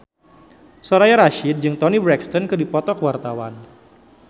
Soraya Rasyid jeung Toni Brexton keur dipoto ku wartawan